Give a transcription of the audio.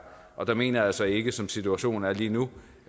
og der mener jeg altså ikke som situationen er lige nu